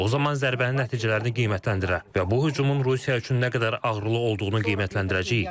O zaman zərbənin nəticələrini qiymətləndirə və bu hücumun Rusiya üçün nə qədər ağrılı olduğunu qiymətləndirəcəyik.